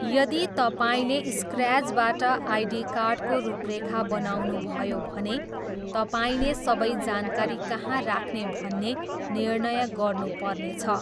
यदि तपाईँले स्क्र्याचबाट आइडी कार्डको रूपरेखा बनाउनुभयो भने तपाईँले सबै जानकारी कहाँ राख्ने भन्ने निर्णय गर्नुपर्नेछ।